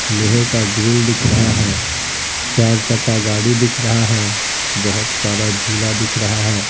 लोहे का ग्रिल दिख रहा है चार चक्का गाड़ी दिख रहा है बहुत सारा झूला दिख रहा है।